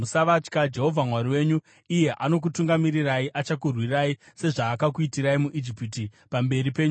Jehovha Mwari wenyu, iye anokutungamirirai, achakurwirai, sezvaakakuitirai muIjipiti, pamberi penyu chaipo,